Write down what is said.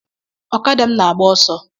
Okada m na-agba ọsọ